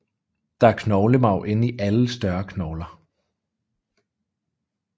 Der er knoglemarv inde i alle større knogler